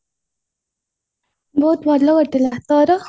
ବହୁତ ଭଲ କଟିଲା ତୋର